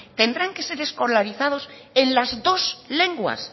tendrán que ser escolarizados en las dos lenguas